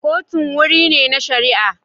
Kotun wuri ne na shari'a.